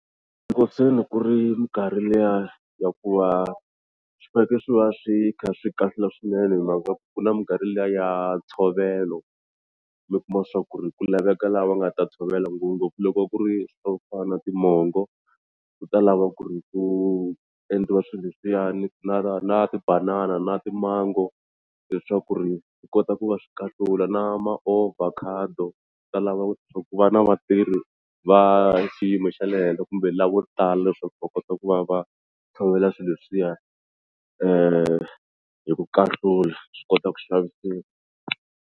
Loko se ni ku ri minkarhi liya ya ku va swi fanekele swi va swi kha swi kahlula swinene hi mhaka ku na minkarhi liya ya ntshovelo mi kuma swa ku ri ku laveka lava nga ta tshovela ngopfungopfu loko ku ri swo fana na timongo ku ta lava ku ri ku endliwa swilo leswiyani na na tibanana na timango leswaku ri swi kota ku va swi kahlula na maovhakhado swi ta lava ku va na vatirhi va xiyimo xa le henhla kumbe lavo tala leswaku va kota ku va va tshovela swilo leswiya hi ku kahlula swi kota ku xavisiwa.